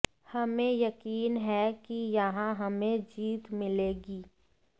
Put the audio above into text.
हमें यकीन है कि यहां हमें जीत मिलेगी